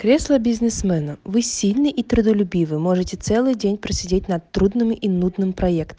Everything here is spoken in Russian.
кресло бизнесмена вы сильные и трудолюбивые можете целый день просидеть над трудными и нудным проектом